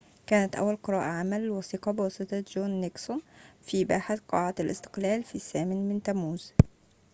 كانت أول قراءة عامة للوثيقة بواسطة جون نيكسون في باحة قاعة الاستقلال في الثامن من تموز